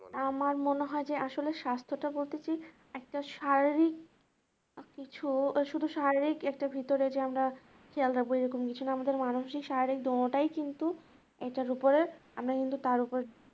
আমার মনে হয় যে আসলে স্বাস্থ্যটা বলতে কি একটা শারীরিক কিছু বা শুধু শারীরিক একটা ভিতরে যে আমরা খেয়াল রাখবো যে কোনো কিছু না আমাদের মানসিক শারীরিক কিন্তু এটার উপরে, আমি কিন্তু তার উপর